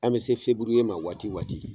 An bɛ se feburuye ma waati waati